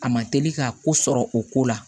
A ma teli ka ko sɔrɔ o ko la